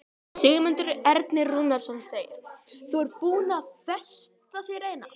Sigmundur Ernir Rúnarsson: Þú ert búin að festa þér eina?